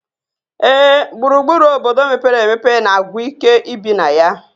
Ee, gburugburu obodo mepere emepe na-agwụ ike ibi na ya